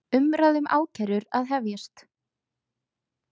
Umræða um ákærur að hefjast